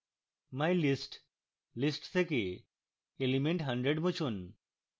mylist list থেকে element hundred মুছুন